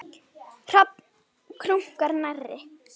Hrafn krunkar nærri.